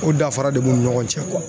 O danfara de b'u ni ɲɔgɔn cɛ